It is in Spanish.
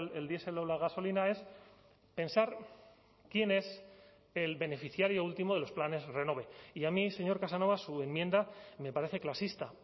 el diesel o la gasolina es pensar quién es el beneficiario último de los planes renove y a mí señor casanova su enmienda me parece clasista